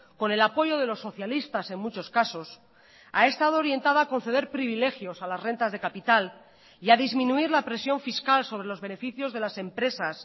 con el apoyo de los socialistas en muchos casos ha estado orientada a conceder privilegios a las rentas de capital y a disminuir la presión fiscal sobrelos beneficios de las empresas